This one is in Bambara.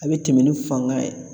A bɛ tɛmɛn ni fanga ye.